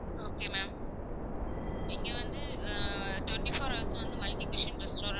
Okay ma'am இங்க வந்து ah twenty four hours வும் வந்து multiplication restaurant